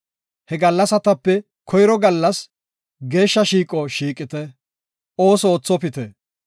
He gallasatape koyro gallas geeshsha shiiqo shiiqite; ooso oothopite.